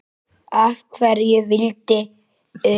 Af hverju viltu vita það?